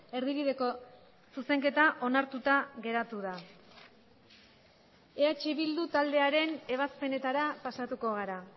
erdibideko zuzenketa onartuta geratu da eh bildu taldearen ebazpenetara pasatuko gara